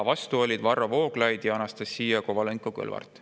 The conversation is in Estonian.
Vastu olid Varro Vooglaid ja Anastassia Kovalenko-Kõlvart.